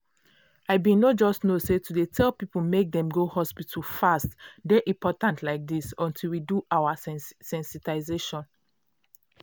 i bin no just know say to dey tell people make dem go hospital fast dey important like this until we do our sensitization.